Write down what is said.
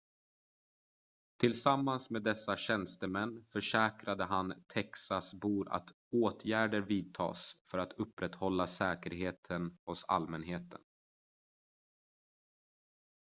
tillsammans med dessa tjänstemän försäkrade han texasbor att åtgärder vidtas för att upprätthålla säkerheten hos allmänheten